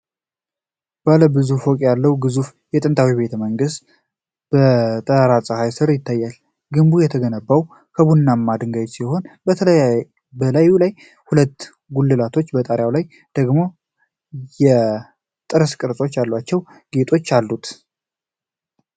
ባለ ብዙ ፎቅ ያለው ግዙፍ ጥንታዊ ቤተመንግስት በጠራራ ፀሐይ ስር ይታያል። ግንቡ የተገነባው ከቡናማ ድንጋዮች ሲሆን፣ በላዩ ላይ ሁለት ጉልላቶችና በጣሪያው ላይ ደግሞ የጥርስ ቅርጽ ያላቸው ጌጦች አሉት።